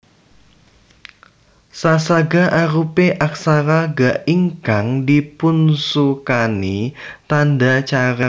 Sa saga arupi aksara Ga ingkang dipunsukani tandha carik